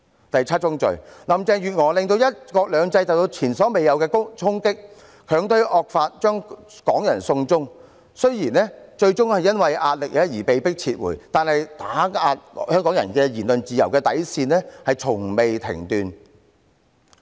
第七宗罪，林鄭月娥令"一國兩制"受到前所未有的衝擊，強推惡法，將港人"送中"，雖然最終因壓力而被迫撤回，但對香港人言論自由底線的打壓從未間斷。